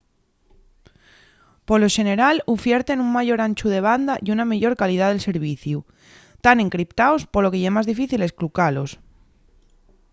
polo xeneral ufierten un mayor anchu de banda y una meyor calidá del serviciu tán encriptaos polo que ye más difícil esclucalos